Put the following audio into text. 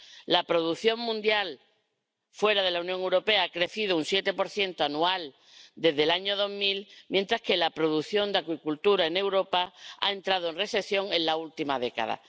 La producción mundial fuera de la Unión Europea ha crecido un 7 anual desde el año 2000, mientras que la producción de acuicultura en Europa ha entrado en recesión en la última década.